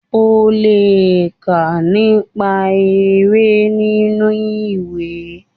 onle ká nipa efe ninu iwe